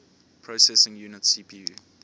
processing unit cpu